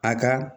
A ka